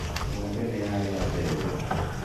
Ng'ombe nĩyarĩa mbembe